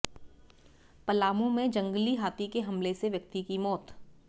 पलामू में जंगली हाथी के हमले में व्यक्ति की मौत